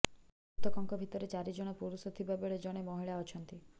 ମୃତକଙ୍କ ଭିତରେ ଚାରି ଜଣ ପୁରୁଷ ଥିବା ବେଳେ ଜଣେ ମହିଳା ଅଛନ୍ତି